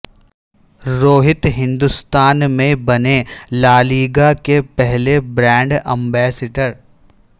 روہت ہندستان میں بنے La Liga کے پہلے برانڈ امبیسڈر